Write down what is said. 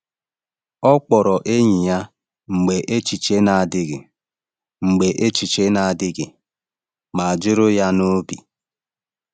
Ọ kpọrọ enyi ya mgbe echiche na-adịghị mgbe echiche na-adịghị mma juru ya n’obi.